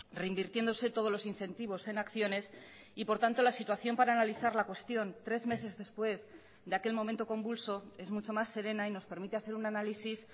reinvirtiéndose todos los incentivos en acciones y por tanto la situación para analizar la cuestión tres meses después de aquel momento convulso es mucho más serena y nos permite hacer un análisis